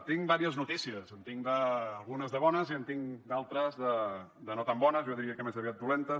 tinc diverses notícies en tinc algunes de bones i en tinc d’altres de no tan bones jo diria que més aviat dolentes